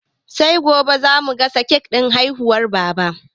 Sai gobe za mu gasa kek ɗin murnar haihuwar Baba.